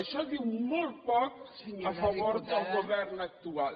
això diu molt poc a favor del govern actual